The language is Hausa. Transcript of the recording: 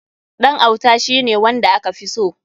Ɗan auta shi ne wanda aka fi so.